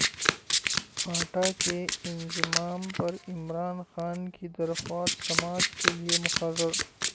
FATA کے انضمام پر عمران خان کی درخواست سماعت کے لیے مقرر